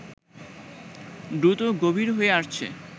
দ্রুত গভীর হয়ে আসছে